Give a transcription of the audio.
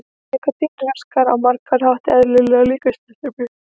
Nikótín raskar á margan hátt eðlilegri líkamsstarfsemi.